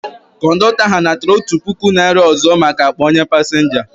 Kọndọktọ ahu natara otụ pụkụ naira ọzọ maka akpa onye pasinja ahu